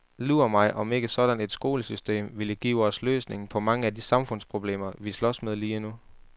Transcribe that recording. Lur mig, om ikke sådan et skolesystem ville give os løsningen på mange af de samfundsproblemer, vi slås med lige nu.